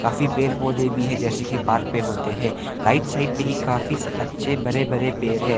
काफी पेड़ पौधे भी है जैसे की पार्क में होते हैं राइट साइड पे ही काफी अच्छे बड़े बड़े पेड़ है।